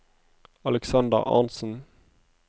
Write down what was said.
Aleksander Arntsen